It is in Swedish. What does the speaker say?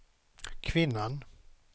kvinnan